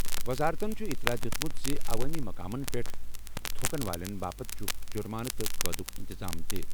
وزارتَن چھُ اطلاع دِیُت زِ عوٲمی مقامَن پٮ۪ٹھ تھوکَن والٮ۪ن باپتھ چھُ جُرمانہٕ تہٕ قٲدُک انتظام تہِ۔